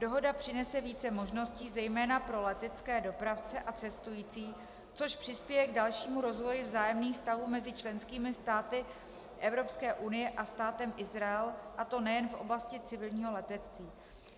Dohoda přinese více možností zejména pro letecké dopravce a cestující, což přispěje k dalšímu rozvoji vzájemných vztahů mezi členskými státy Evropské unie a Státem Izrael, a to nejen v oblasti civilního letectví.